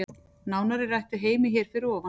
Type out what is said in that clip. Nánar er rætt við Heimi hér fyrir ofan.